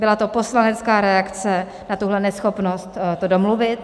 Byla to poslanecká reakce na tuhle neschopnost to domluvit.